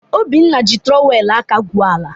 Obinna ji trọwel aka gwuo ala.